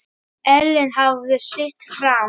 Ellin hafði sitt fram.